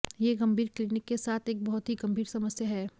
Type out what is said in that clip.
यह गंभीर क्लिनिक के साथ एक बहुत ही गंभीर समस्या है